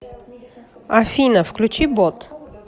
афина включи ботт